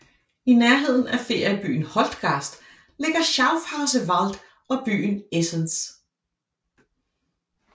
I nærheden af feriebyen Holtgast ligger Schafhauser Wald og byen Esens